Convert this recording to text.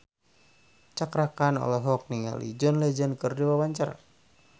Cakra Khan olohok ningali John Legend keur diwawancara